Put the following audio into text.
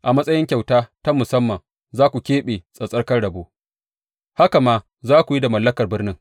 A matsayin kyauta ta musamman za ku keɓe tsattsarkan rabo, haka ma za ku yi da mallakar birnin.